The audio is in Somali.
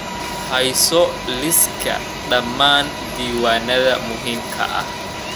Hayso liiska dhammaan diiwaannada muhiimka ah.